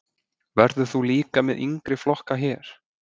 Verður þú líka með yngri flokka hér?